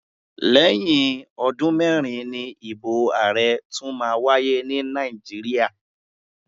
Lẹ́yìn ọdún mẹ́rin ni ìbò ààrẹ tún máa wáyé ní Nàìjíríà.